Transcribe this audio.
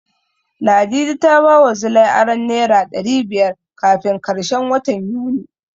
Ladidi ta bawa Zilai aron Naira ɗari biyar kafin karshen watan Yuni.